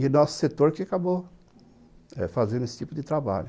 E o nosso setor que acabou eh fazendo esse tipo de trabalho.